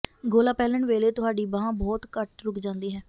ਗੋਲਾ ਪਹਿਨਣ ਵੇਲੇ ਤੁਹਾਡੀ ਬਾਂਹ ਬਹੁਤ ਘੱਟ ਰੁਕ ਜਾਂਦੀ ਹੈ